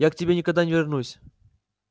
я к тебе никогда не вернусь